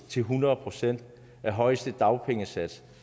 til hundrede procent af højeste dagpengesats